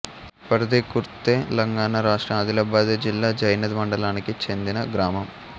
పర్ది ఖుర్ద్తెలంగాణ రాష్ట్రం ఆదిలాబాదు జిల్లా జైనథ్ మండలానికి చెందిన గ్రామం